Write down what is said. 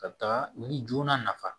Ka taa ni joona nafa